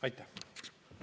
Aitäh!